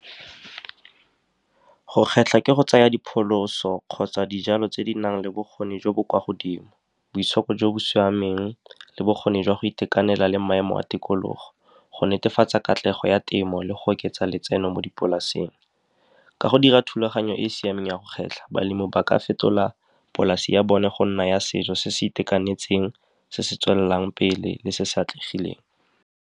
Go kgetlha ke go tsaya dipholoso kgotsa dijalo tse di nang le bokgoni jo bo kwa godimo, boitshoko jo bo siameng le bokgoni jwa go itekanela le maemo a tikologo, go netefatsa katlego ya temo le go oketsa letseno mo dipolaseng. Ka go dira thulaganyo e e siameng ya go kgetlha, balemi ba ka fetola polase ya bone go nna ya setso se se itekanetseng, se se tswelelang pele le se se atlegileng.